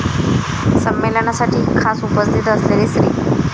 संमेलनासाठी खास उपस्थित असलेले श्री.